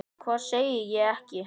Hvað sagði ég ekki?